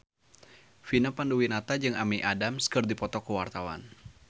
Vina Panduwinata jeung Amy Adams keur dipoto ku wartawan